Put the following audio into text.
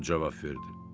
o cavab verdi.